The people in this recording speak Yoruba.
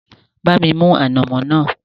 Bá mi mú ànàmọ́ náà